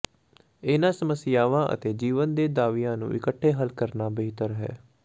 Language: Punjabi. ਇਹਨਾਂ ਸਮੱਸਿਆਵਾਂ ਅਤੇ ਜੀਵਨ ਦੇ ਦਾਅਵਿਆਂ ਨੂੰ ਇਕੱਠੇ ਹੱਲ ਕਰਨਾ ਬਿਹਤਰ ਹੈ